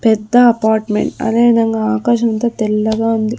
పెద్ద అపార్ట్మెంట్ అదే విధంగా ఆకాశం అంతా తెల్లగా ఉంది.